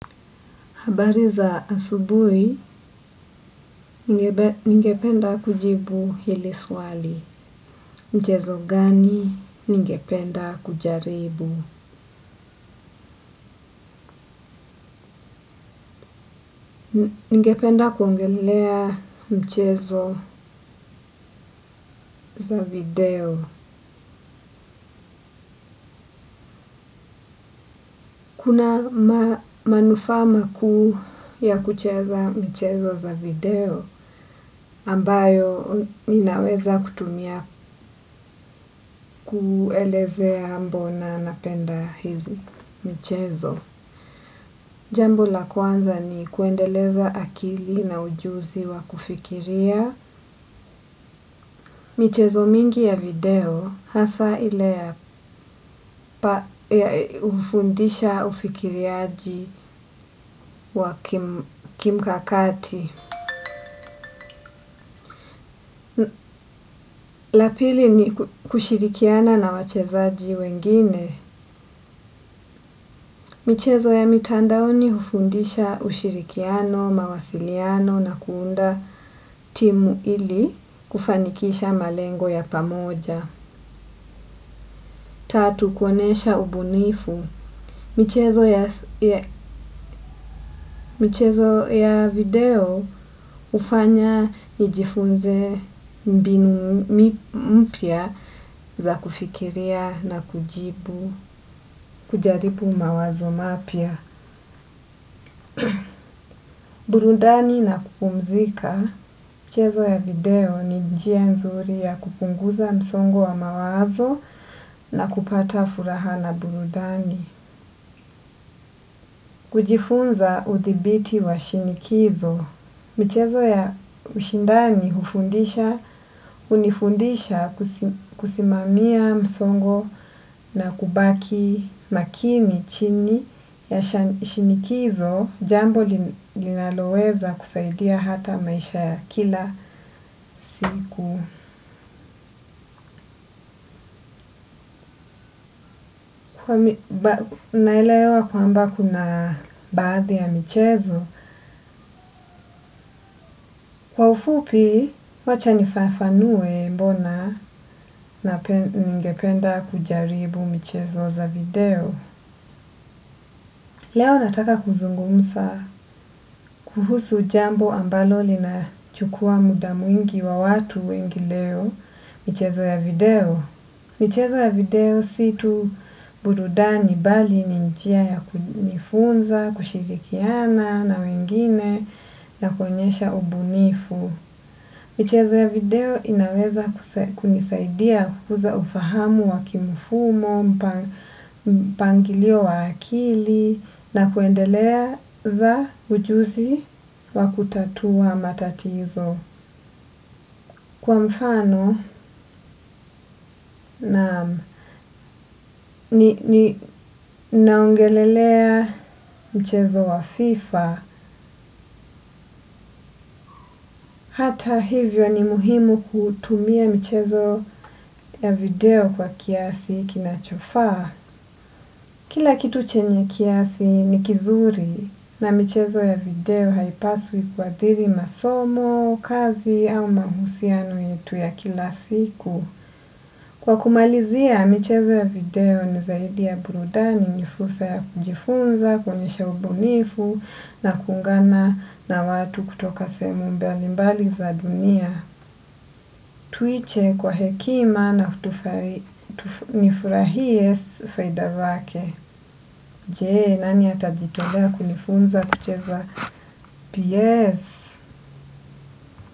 Habari za asububi, ninge penda kujibu hili swali mchezo gani, ningependa kujaribu, ningependa kuongelelea mchezo za video. Kuna manufaa makuu ya kucheza michezo za video ambayo inaweza kutumia kuelezea mbona napenda hizi mchezo. Jambo la kwanza ni kuendeleza akili na ujuzi wa kufikiria. Michezo mingi ya video hasaa ile ya ufundisha ufikiriaji wa kimkakati. Lapili ni kushirikiana na wachezaji wengine. Michezo ya mitandaoni ufundisha ushirikiano, mawasiliano na kuunda timu ili kufanikisha malengo ya pamoja. Tatu, kuonyesha ubunifu. Michezo ya video ufanya nijifunze mbinu za kufikiria na kujaribu mawazo mapya. Burudani na kupumzika. Michezo ya video ni njia nzuri ya kupunguza msongo wa mawazo na kupata furaha na burudani. Kujifunza udhibiti wa shinikizo. Michezo ya ushindani hufundisha, unifundisha kusimamia msongo na kubaki makini chini ya shinikizo. Jambo linaloweza kusaidia hata maisha ya kila. Naelewa kwamba kuna baadhi ya michezo. Kwa ufupi wacha nifafanue mbona ningependa kujaribu michezo za video. Leo nataka kuzungumsa kuhusu jambo ambalo lina chukua muda mwingi wa watu wengi leo michezo ya video. Michezo ya video si tu burudani mbali ni njia ya kunifunza, kushirikiana na wengine na kuonyesha ubunifu. Michezo ya video inaweza kunisaidia kukuza ufahamu wa kimufumo, pangilio wa akili na kuendeleza ujuzi wa kutatua matatizo. Kwa mfano naam naongelelea mchezo wa FIFA, hata hivyo ni muhimu kutumia michezo ya video kwa kiasi kinachofaa. Kila kitu chenye kiasi ni kizuri na michezo ya video haipaswi kuadhiri masomo, kazi au mahusiano yetu ya kila siku. Kwa kumalizia, michezo ya video ni zaidi ya burudani ni fursa ya kujifunza, kuonyesha ubunifu na kuungana na watu kutoka sehemu mbali mbali za dunia. Tuiche kwa hekima na nifurahie faida zake. Je, nani atajitolea kunifunza kucheza P.S?